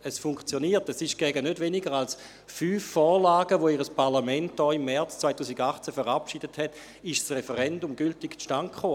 Es funktioniert, denn gegen nicht weniger als fünf Vorlagen, die Ihr Parlament hier im März 2018 verabschiedet hatte, kam ein gültiges Referendum zustande.